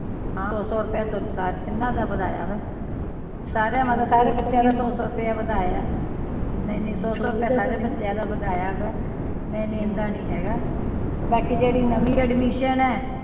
ਹਾਂ ਸੌ ਸੌ ਰੁਪਏ ਦੋਨੋ ਸਾਰੇ ਤਿੰਨਾਂ ਦਾ ਵਧਾਇਆ ਵੇ, ਸਾਰੇ ਦਾ ਸਾਰੇ ਬੱਚਿਆਂ ਦਾ ਸੌ ਸੌ ਰੁਪਏ ਵਧਾਇਆ ਏ ਨਹੀਂ ਨਹੀਂ ਸੌ ਸੌ ਰੁਪਏ ਸਾਰੇ ਬੱਚਿਆਂ ਦਾ ਵਧਾਇਆ ਵੇ, ਨਹੀਂ ਨਹੀਂ ਏਦਾਂ ਨਹੀਂ ਹੇਗਾ ਬਾਕੀ ਜਿਹੜੀ ਨਵੀ ਏਡਮਿਸ਼ਨ ਏ